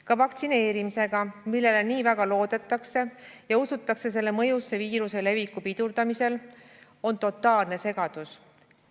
Ka vaktsineerimisega, millele nii väga loodetakse ja usutakse selle mõjusse viiruse leviku pidurdamisel, on totaalne segadus.